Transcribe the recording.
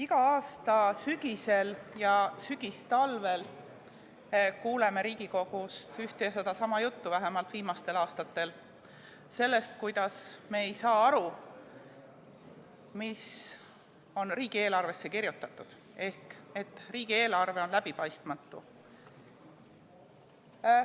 Iga aasta sügisel ja sügistalvel kuuleme Riigikogus ühte ja sedasama juttu, vähemalt viimastel aastatel, sellest, kuidas me ei saa aru, mis on riigieelarvesse kirjutatud, ehk et riigieelarve on läbipaistmatu.